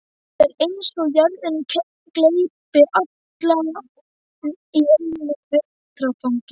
Það er eins og jörðin gleypi alla í einu vetfangi.